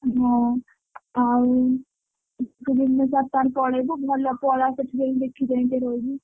ହଁ ଆଉ ତୁ ଭୁବନେଶ୍ବର ପଳେଇବୁ ଭଲ ପଳା ସେଇଠି ଯାଇକି ଦେଖି ଚାହିଁକି ରହିବୁ।